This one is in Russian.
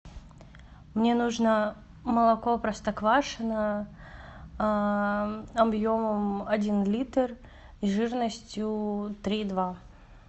мне нужно молоко простоквашино объемом один литр жирностью три и два